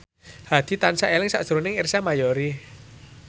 Hadi tansah eling sakjroning Ersa Mayori